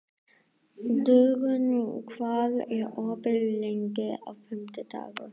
Dögun, hvað er opið lengi á fimmtudaginn?